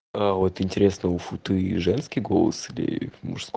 а вот интересно у футы и женский голос или мужск